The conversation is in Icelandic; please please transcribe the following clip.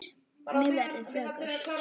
Mér verður flökurt